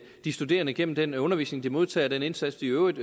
de studerende gennem den undervisning de modtager og den indsats de i øvrigt